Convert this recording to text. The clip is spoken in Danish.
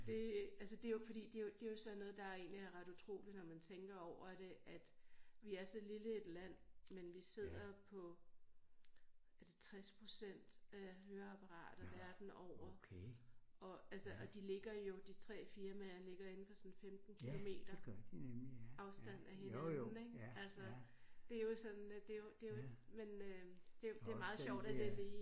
Det altså det jo fordi det jo det jo sådan noget der egentlig er ret utroligt når man tænker over det at vi er så lille et land men vi sidder på er det 60% af høreapparater verden over og altså og de ligger jo de 3 firmaer ligger indenfor sådan 15 kilometer afstand af hinanden ik altså det jo sådan det jo det jo men øh det det meget sjovt at jeg lige